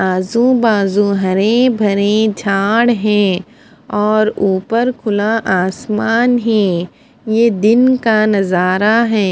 आजू बाजू हरे भरे झाड़ हैं और ऊपर खुला आसमान हैं यह दिन का नजारा हैं।